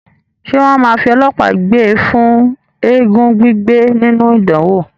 Ṣé wọ́n máa fi ọlọ́pàá gbé e fún eégún gbígbé nínú ìdánwò?